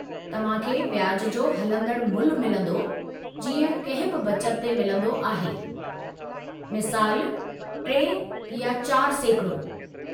तव्हां खे व्याज जो हलंदड़ु मुल्हु मिलंदो, जीअं कंहिं बि बचत ते मिलंदो आहे, मिसालु 3 या 4%